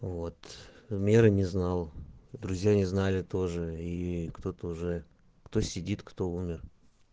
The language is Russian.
вот мира не знал друзья не знали тоже и кто-то уже кто сидит кто умер